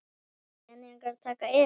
eru peningar að taka yfir?